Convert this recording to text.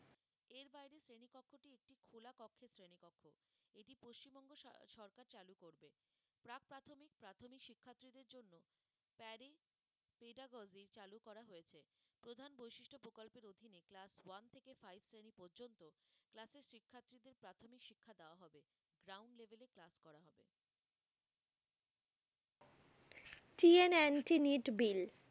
TN anti bill